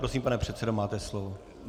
Prosím, pane předsedo, máte slovo.